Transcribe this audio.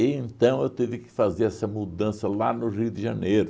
E então eu tive que fazer essa mudança lá no Rio de Janeiro.